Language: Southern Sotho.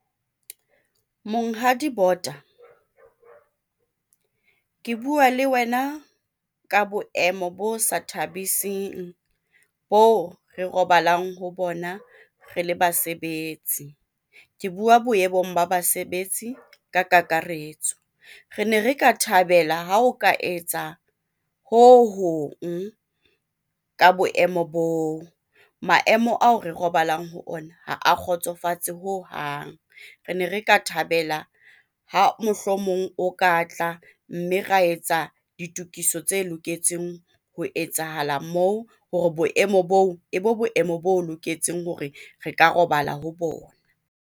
Monghadi Bota ke bua le wena ka boemo bo sa thabising bo re robalang ho bona re le basebetsi, ke bua boemong ba basebetsi ka kakaretso re ne re ka thabela ha o ka etsa ho hong ka boemo boo, maemo ao re robalang ho ona ha a kgotsofatse hohang. Re ne re ka thabela ha mohlomong o ka tla mme ra etsa ditokiso tse loketseng ho etsahala moo hore boemo bo e bo boemo bo loketseng hore re ka robala ho bona.